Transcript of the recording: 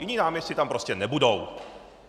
Jiní náměstci tam prostě nebudou.